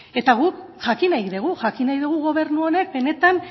eta guk jakin nahi dugu jakin nahi dugu gobernu honek benetan